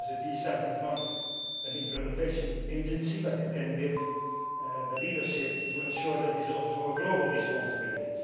Of course the G7 is not an implementation agency, but it can give the leadership to ensure that is also a global responsibility.